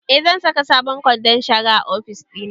Eh, zan saka sabon kwandon shara a ofis ɗina